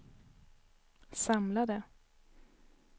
samlade